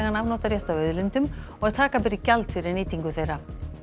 afnotarétt af auðlindum og að taka beri gjald fyrir nýtingu þeirra